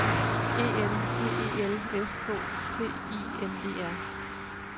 E N G E L S K T I M E R